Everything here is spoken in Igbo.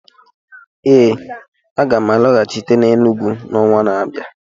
Ee, aga m alọghachite n'Enugwu n'ọnwa na-abịa